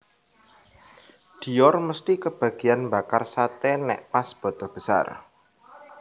Dior mesti kebagian mbakar sate nek pas badha besar